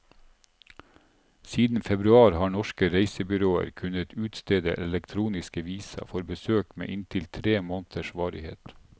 Siden februar har norske reisebyråer kunnet utstede elektroniske visa for besøk med inntil tre måneders varighet.